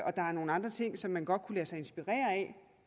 er nogle andre ting som man godt kunne lade sig inspirere af